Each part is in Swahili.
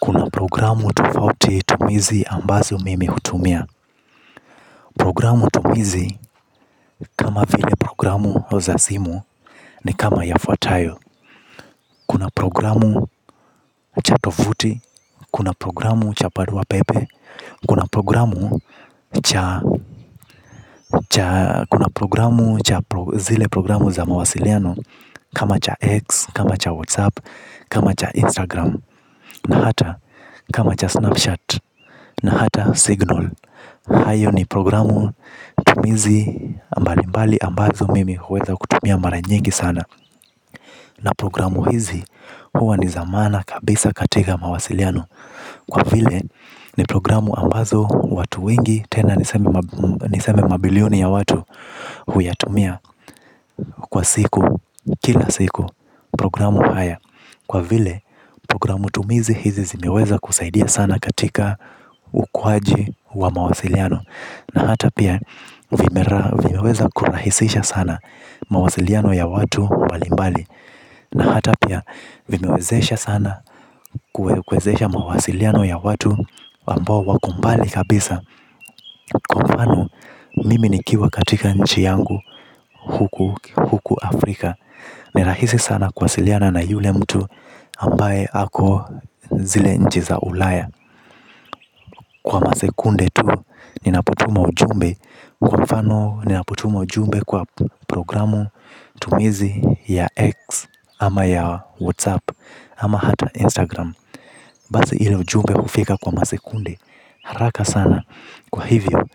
Kuna programu tofauti tumizi ambazo mimi hutumia. Programu tumizi kama vile programu oza zimu ni kama ya fatayo. Programu cha tofuti, kuna programu cha parua pepe. Kuna programu cha zile programu za mawasiliano. Kama cha X, kama cha WhatsApp, kama cha Instagram. Na hata kama cha Snapchat, na hata Signal. Hayo ni programu tumizi ambalimbali ambazo mimi huweza kutumia maranyingi sana. Na programu hizi huwa ni zamana kabisa katika mawasiliano. Kwa vile ni programu ambazo watu wengi tena niseme mabilioni ya watu huyatumia kwa siku kila siku programu haya. Kwa vile programu tumizi hizi zimeweza kusaidia sana katika ukwaji wa mawasiliano. Na hata pia vimeweza kurahisisha sana mawasiliano ya watu mbalimbali na ata pia vewezesha sana kuwezesha mawasiliano ya watu waliobmbali san a kwa mfano mimi nikiwa katika nchi yangu huku Afrika. Ni rahisi sana kuwasiliana na yule mtu ambaye ako zile nchi za ulaya. Kwa masekunde tu ninapotuma ujumbe kwa mfano ninapotuma ujumbe kwa programu tumizi ya X ama ya WhatsApp ama hata Instagram. Bazi hilo ujumbe hufika kwa masekunde haraka sana. Kwa hivyo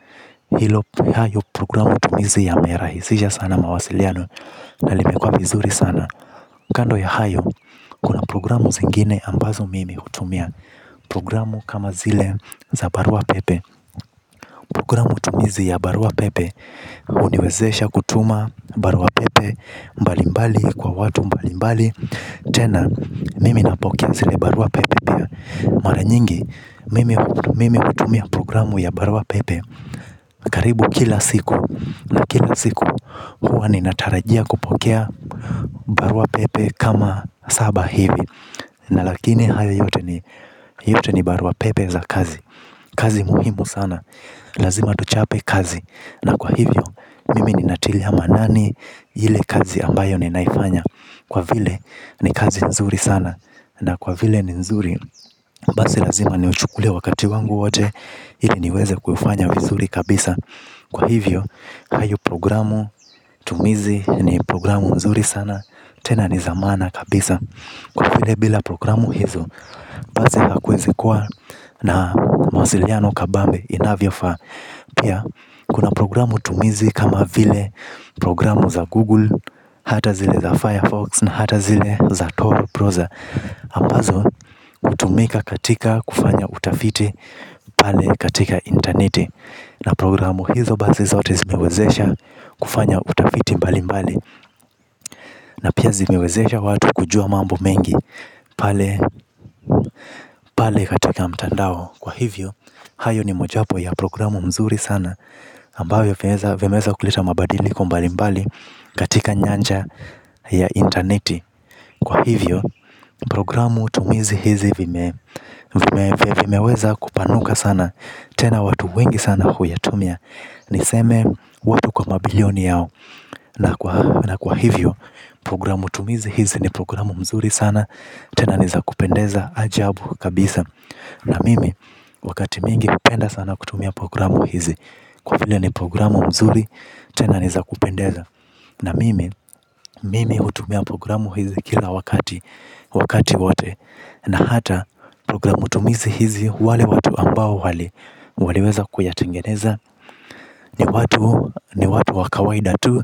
hilo hayo programu tumizi yamerahisisha sana mawasiliano na limekua mizuri sana. Kando ya hayo kuna programu zingine ambazo mimi hutumia programu kama zile za barua pepe. Programu tumizi ya Barua Pepe Uniwezesha kutuma Barua Pepe Mbalimbali kwa watu mbalimbali. Tena, mimi napokea zile Barua Pepe. Maranyingi, mimi utumia programu ya Barua Pepe karibu kila siku na kila siku huwa ninatarajia kupokea barua pepe kama saba hivi. Na lakini haya yote yote ni Barua Pepe za kazi. Kazi muhimu sana. Lazima tuchape kazi. Na kwa hivyo, mimi ni natilia maanani hile kazi ambayo ni naifanya. Kwa vile, ni kazi nzuri sana. Na kwa vile ni nzuri, basi lazima ni uchukulie wakati wangu wote. Ili niweze kuifanya vizuri kabisa. Kwa hivyo, hayo programu tumizi ni programu nzuri sana. Tena ni za maana kabisa. Kwa vile bila programu hizo basi hakuwezi kuwa na mawasiliano kabambe inavyofaa. Pia, kuna programu tumizi kama vile programu za Google, hata zile za Firefox na hata zile za Toru Proza. Ambazo, hutumika katika kufanya utafiti, pale katika interneti. Na programu hizo basi zote zimewezesha kufanya utafiti mbali mbali. Na pia zimewezesha watu kujua mambo mengi, pale katika mtandao. Kwa hivyo, hayo ni mojapo ya programu mzuri sana ambayo vimeweza kuleta mabadili kombalimbali katika nyanja ya intaneti kwa hivyo programu tumizi hizi vime vimeweza kupanuka sana tena watu wengi sana huyatumia. Niseme, watu kwa mabilioni yao. Na kwa hivyo, programu tumizi hizi ni programu mzuri sana. Tena niza kupendeza ajabu kabisa. Na mimi wakati mingi upenda sana kutumia programu hizi kwa vile ni programu mzuri tena niza kupendeza. Na mimi mimi utumia programu hizi kila wakati wote na hata programu tumizi hizi wale watu ambao wali waliweza kuyatengeneza. Ni watu ni watu wakawaida tu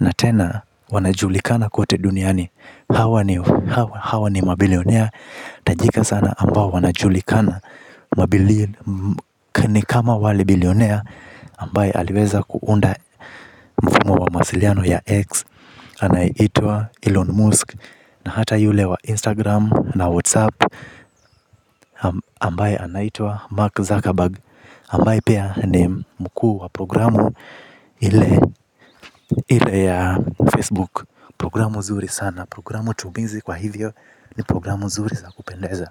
na tena wanajulikana kote duniani. Hawa ni mabilionaire tajika sana ambao wanajulikana. Ni kama wale bilionaire ambaye aliweza kuunda mfumo wa mawasiliano ya x Anayeitwa Elon Musk. Na hata yule wa Instagram na Whatsapp Ambaye anaitwa Mark Zuckerberg Ambaye pia ni mkuu wa programu ile ya Facebook. Programu zuri sana. Programu tumizi kwa hivyo ni programu nzuri Zaku Pendeza.